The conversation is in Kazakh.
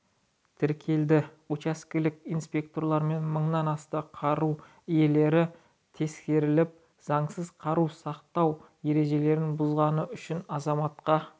тәркіленді учаскелік инспекторлармен мыңнан астам қару иелері тексеріліп заңсыз қару сақтау ережелерін бұзғаны үшін азаматқа